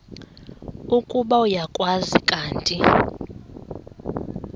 ukuba uyakwazi kanti